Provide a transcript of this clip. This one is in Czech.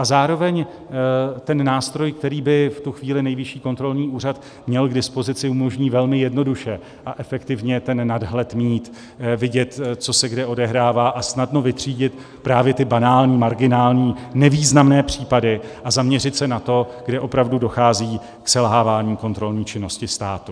A zároveň ten nástroj, který by v tu chvíli Nejvyšší kontrolní úřad měl k dispozici, umožní velmi jednoduše a efektivně ten nadhled mít, vidět, co se kde odehrává, a snadno vytřídit právě ty banální, marginální, nevýznamné případy a zaměřit se na to, kde opravdu dochází k selhávání kontrolní činnosti státu.